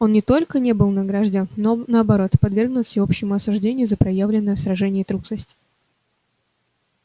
он не только не был награждён но наоборот подвергнут всеобщему осуждению за проявленную в сражении трусость